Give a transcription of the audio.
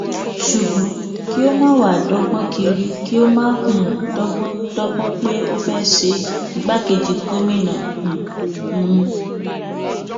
ṣùgbọn kí ó máa wáá dọgbọn kiri kí ó máa um dọgbọn dọgbọn pé ó fẹẹ ṣe igbákejì gómìnà um hunn